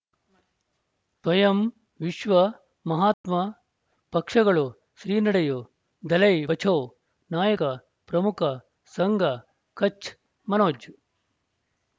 ತ್ವಯಂ ವಿಶ್ವ ಮಹಾತ್ಮ ಪಕ್ಷಗಳು ಶ್ರೀ ನಡೆಯೂ ದಲೈ ಬಚೌ ನಾಯಕ ಪ್ರಮುಖ ಸಂಘ ಕಚ್ ಮನೋಜ್